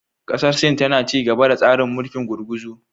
Kasar Sin tana ci gaba da tsarin mulkin gurguzu.